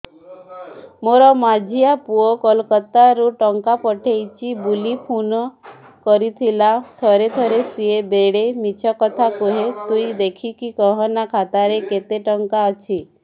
ମୋର ମଝିଆ ପୁଅ କୋଲକତା ରୁ ଟଙ୍କା ପଠେଇଚି ବୁଲି ଫୁନ କରିଥିଲା ଥରେ ଥରେ ସିଏ ବେଡେ ମିଛ କଥା କୁହେ ତୁଇ ଦେଖିକି କହନା ଖାତାରେ କେତ ଟଙ୍କା ଅଛି